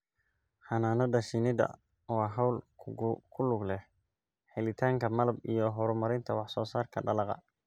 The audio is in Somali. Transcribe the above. Xannaanada shinnidu waa hawl ku lug leh helitaanka malab iyo horumarinta wax soo saarka dalagga.